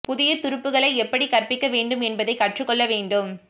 புதிய துருப்புக்களை எப்படி கற்பிக்க வேண்டும் என்பதைக் கற்றுக் கொள்ள வேண்டும்